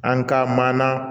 An ka mana